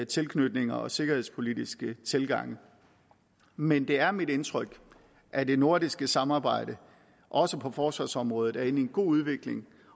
tilknytninger og sikkerhedspolitiske tilgange men det er mit indtryk at det nordiske samarbejde også på forsvarsområdet er inde i en god udvikling